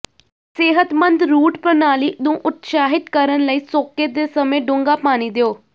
ਸਿਹਤਮੰਦ ਰੂਟ ਪ੍ਰਣਾਲੀ ਨੂੰ ਉਤਸ਼ਾਹਿਤ ਕਰਨ ਲਈ ਸੋਕੇ ਦੇ ਸਮੇਂ ਡੂੰਘਾ ਪਾਣੀ ਦਿਓ